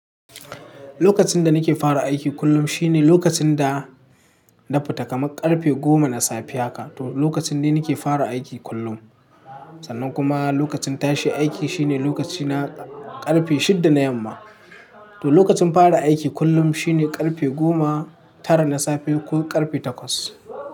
Lokacin da nake fara aiki kullum shine lokacin da na fita kamar karfe goma na safe haka. To lokacin ne nake fara aiki kullum. Sannan kuma lokacin tashi aiki shine lokaci na karfe shida na yamma. To lokacin fara aiki kullum shine karfe goma tara na safe ko karfe takwas.